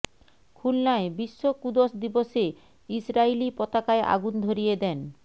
খুলনায় বিশ্ব কুদস দিবসে ইসরাইলি পতাকায় আগুন ধরিয়ে দেন